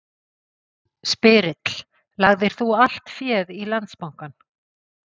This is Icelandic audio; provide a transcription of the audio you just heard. Spyrill: Lagðir þú allt féð í Landsbankann?